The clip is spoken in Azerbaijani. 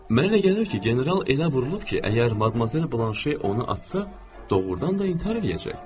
Mənə elə gəlir ki, general elə vurulub ki, əgər Madmazel Blanşe onu açsa, doğurdan da intihar eləyəcək.